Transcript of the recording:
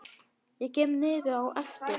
Ég kem niður á eftir.